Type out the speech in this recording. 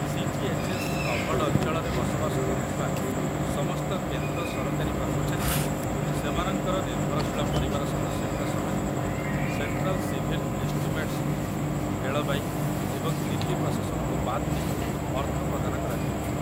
CGHS. Covered ଅଞ୍ଚଳରେ ବସବାସ କରୁଥିବା ସମସ୍ତ କେନ୍ଦ୍ର ସରକାରୀ କର୍ମଚାରୀଙ୍କୁ, ସେମାନଙ୍କର ନିର୍ଭରଶୀଳ ପରିବାର ସଦସ୍ୟଙ୍କ ସମେତ, ସେଣ୍ଟ୍ରାଲ୍ ସିଭିଲ୍ ଏଷ୍ଟିମେଟ୍‌ସ୍‌ରୁ ରେଳବାଇ ଏବଂ ଦିଲ୍ଲୀ ପ୍ରଶାସନକୁ ବାଦ୍ ଦେଇ ଅର୍ଥ ପ୍ରଦାନ କରାଯାଇଥାଏ।